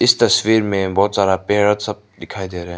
तस्वीर में बहोत सारा पैरट सब दिखाई दे रे है।